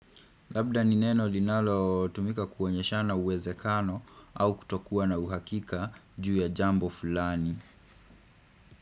Labda ni neno linalo tumika kuonyeshana uwezekano au kutokuwa na uhakika juu ya jambo fulani.